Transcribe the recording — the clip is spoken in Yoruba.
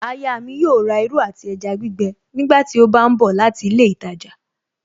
Aya mi yóò rà irú àti ẹja gbígbẹ nígbàtí ó bá ń bọ̀ láti ilé ìtajà